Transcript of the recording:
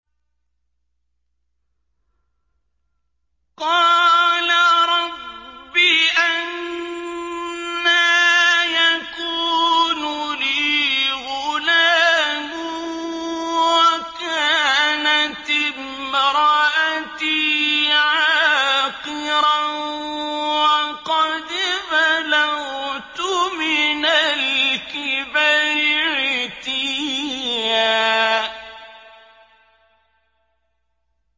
قَالَ رَبِّ أَنَّىٰ يَكُونُ لِي غُلَامٌ وَكَانَتِ امْرَأَتِي عَاقِرًا وَقَدْ بَلَغْتُ مِنَ الْكِبَرِ عِتِيًّا